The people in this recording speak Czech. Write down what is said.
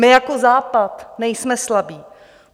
My jako Západ nejsme slabí.